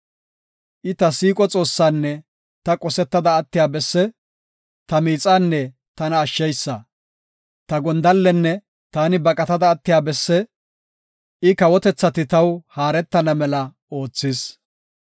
I ta siiqo Xoossaanne ta qosetta attiya besse; ta miixanne tana ashsheysa. Ta gondallenne taani baqatada attiya besse; I kawotethati taw haaretana mela oothis.